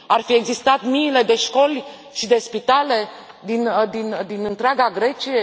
Ar fi existat miile de școli și de spitale din întreaga Grecie?